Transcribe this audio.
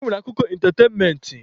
E nwere akụkọ ịntatenment.